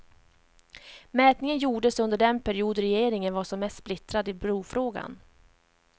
Mätningen gjordes under den period regeringen var som mest splittrad i brofrågan.